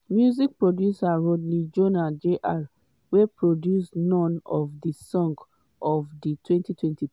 music producer rodney jones jr wey produce none of di songs ofr di 2023